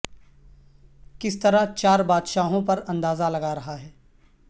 کس طرح چار بادشاہوں پر اندازہ لگا رہا ہے